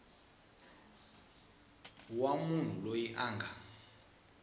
wa munhu loyi a nga